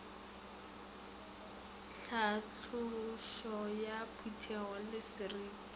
tlhatlošo ya potego le seriti